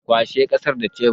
Kwashe ƙasar da cebir